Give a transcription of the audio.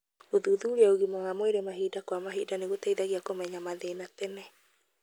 Gũthuthuria ũgima wa mwĩrĩ mahinda kwa mahinda nĩ gũteithagia kũmenya mathĩna tene.